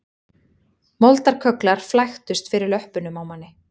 Moldarkögglar flæktust fyrir löppunum á manni